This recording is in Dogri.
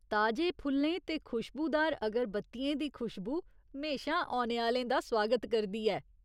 ताजे फुल्लें ते खुशबूदार अगरबत्तियें दी खुशबू म्हेशां औने आह्‌लें दा सुआगत करदी ऐ।